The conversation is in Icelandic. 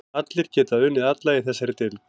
Allir geta unnið alla í þessari deild.